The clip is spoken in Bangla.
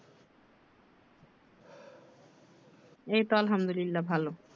এইতো আলহামদুলিলা ভালো